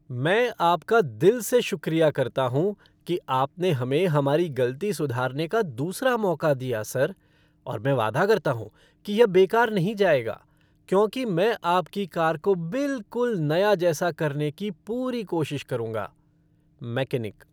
मैं आपका दिल से शुक्रिया करता हूँ कि आपने हमें हमारी गलती सुधारने का दूसरा मौका दिया, सर और मैं वादा करता हूँ कि यह बेकार नहीं जाएगा, क्योंकि मैं आपकी कार को बिलकुल नया जैसा करने की पूरी कोशिश करूंगा! मैकेनिक